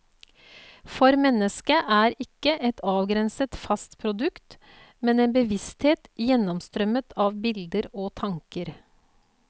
For mennesket er ikke et avgrenset, fast produkt, men en bevissthet gjennomstrømmet av bilder, tanker.